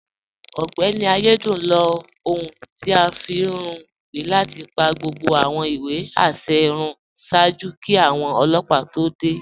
Ọgbẹni Ayédùn ló ọ̀hun tí a fi ń rún ìwé láti pa gbogbo awọn ìwé àṣẹ̀ rún ṣáàjú kí awọn ọlọpa tó dẹ́ ibẹ̀.